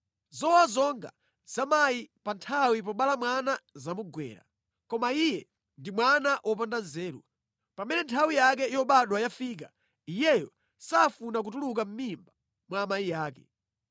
Zowawa zonga za mayi pa nthawi yobala mwana zamugwera, koma iye ndi mwana wopanda nzeru, pamene nthawi yake yobadwa yafika iyeyo safuna kutuluka mʼmimba mwa amayi ake.